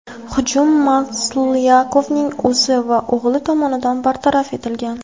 Hujum Maslyakovning o‘zi va o‘g‘li tomonidan bartaraf etilgan.